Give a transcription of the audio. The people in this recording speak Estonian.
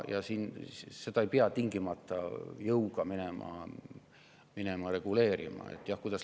Seda ei pea minema tingimata jõuga reguleerima.